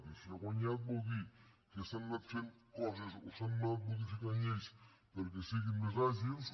i si ha guanyat vol dir que s’han anat fent coses o s’han anat modificant lleis perquè siguin més àgils